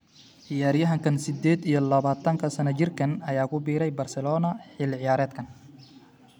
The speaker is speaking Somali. Ciyariyahanka sideed iyo labatanka sano jirkaan ayaa ku biiray Barcelona xilli ciyaareedkan.